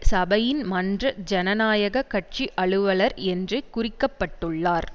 சபையின் மன்ற ஜனநாயக கட்சி அலுவலர் என்று குறிக்கப்பட்டுள்ளார்